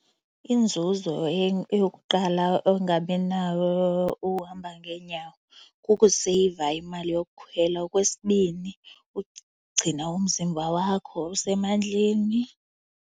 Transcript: Inzuzo eyokuqala ongaba nayo uhamba ngeenyawo kekuseyiva imali yokukhwela. Okwesibini, ukugcina umzimba wakho usemandleni.